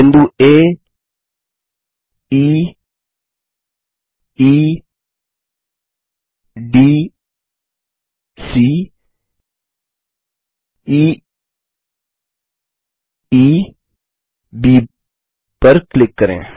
बिंदु आ E E D C E E B पर क्लिक करें